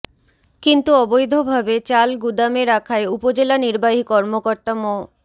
কিন্তু অবৈধভাবে চাল গুদামে রাখায় উপজেলা নির্বাহী কর্মকর্তা মো